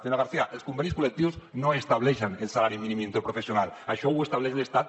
senyora garcía els convenis col·lectius no estableixen el salari mínim interprofessional això ho estableix l’estat